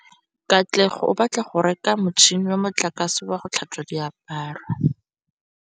Katlego o batla go reka motšhine wa motlakase wa go tlhatswa diaparo.